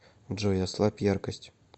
джой ослабь яркость